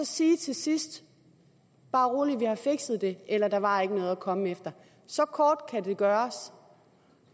sige til sidst bare rolig vi har fikset det eller der var ikke noget at komme efter så kort kan det gøres